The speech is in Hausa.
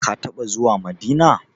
Ka taɓa zuwa Madina?